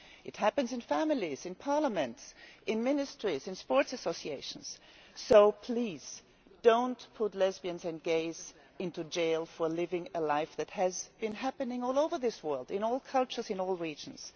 It happens in families, in parliaments, in ministries, in sports associations, so please do not put lesbians and gays into jail for living a life that has been happening all over this world in all cultures, in all regions.